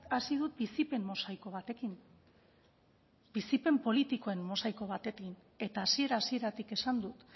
hasi dut bizipen mosaiko batekin bizipen politikoen mosaiko batekin eta hasiera hasieratik esan dut